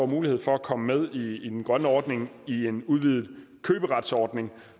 mulighed for at komme med i den grønne ordning i en udvidet køberetsordning